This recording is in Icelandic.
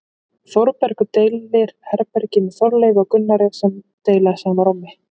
Þórbergur deilir herbergi með Þorleifi og Gunnari sem deila sama rúmi.